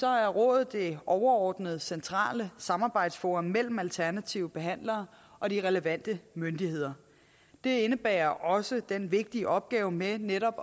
er rådet det overordnede centrale samarbejdsforum mellem alternative behandlere og de relevante myndigheder det indebærer også den vigtige opgave med netop